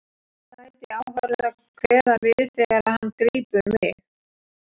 Fagnaðarlæti áhorfenda kveða við þegar hann grípur mig.